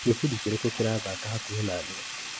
Gĩbindi kĩrĩkũ kĩrathaka hakuhĩ naniĩ ?